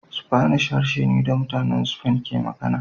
Spanish harshe ne da mutanen Spain ke magana